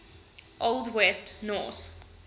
old west norse